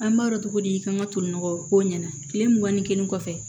An b'a dɔn cogo di kan ka toli nɔgɔ k'o ɲɛna tile mugan ni kelen kɔfɛ